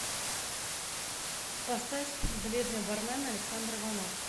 поставь бледный бармен александр иванов